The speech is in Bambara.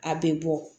A bɛ bɔ